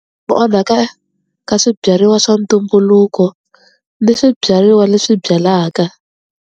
Ku onhaka ka swibyariwa swa ntumbuluko ni swibyariwa leswi byalaka.